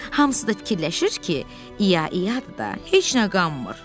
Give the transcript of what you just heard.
Hamısı da fikirləşir ki, İya-iyadır da, heç nə qanmır.